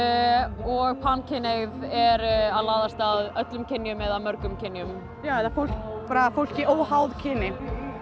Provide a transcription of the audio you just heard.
og pankynhneigð er að laðast að öllum kynjum eða mörgum kynjum já eða bara fólki óháð kyni